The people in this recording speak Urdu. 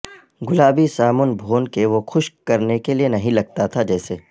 گلابی سامن بھون کہ وہ خشک کرنے کے لئے نہیں لگتا تھا جیسے